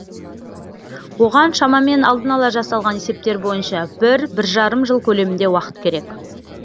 оған шамамен алдын ала жасалған есептер бойынша бір бір жарым жыл көлемінде уақыт керек